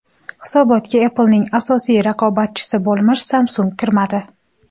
Hisobotga Apple’ning asosiy raqobatchisi bo‘lmish Samsung kirmadi.